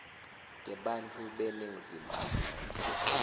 tebantfu beningizimu afrika